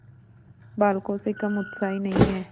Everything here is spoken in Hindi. बालकों से कम उत्साही नहीं है